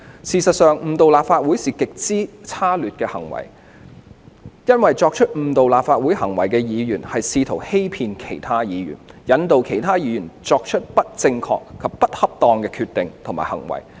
事實上，誤導立法會是極之差劣的行為，因為作出誤導立法會行為的議員是試圖欺騙其他議員，引導其他議員作出不正確或不恰當的決定及/或行為。